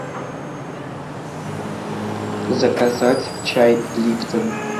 заказать чай липтон